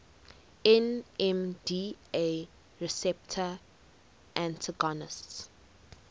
nmda receptor antagonists